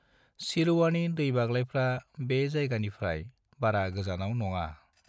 NaN